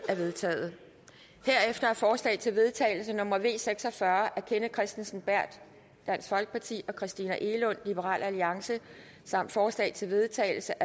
er vedtaget herefter er forslag til vedtagelse nummer v seks og fyrre af kenneth kristensen berth og christina egelund samt forslag til vedtagelse